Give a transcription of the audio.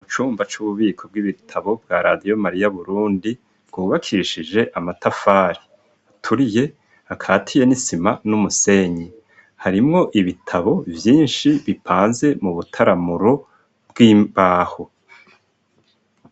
Ubucumba c'ububiko bw'ibitabo bwa radio mariya burundi bwubakishije amatafari aturiye akatiye n'isima n'umusenyi harimwo ibitabo vyinshi bipanze mu butaramuro bw'imbaho.